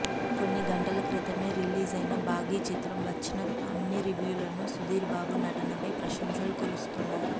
కొన్ని గంటలక్రితమే రిలీజ్ అయిన భాఘీ చిత్రం వచ్చిన అన్ని రివ్యూల్లోనూ సుధీర్ బాబు నటన పై ప్రశంసలుకురుస్తున్నాయి